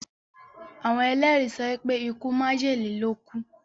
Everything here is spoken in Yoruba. Àwon èlérí sopé ikú májèlé ló kúú.